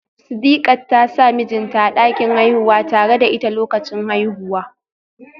Sidiqat ta sa mijinta a dakin haihuwa tare da ita lokacin haihuwa